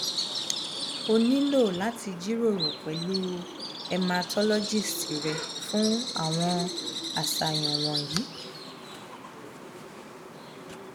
o nilo lati jiroro pẹlu hematologist re fun awọn aṣayan wọnyi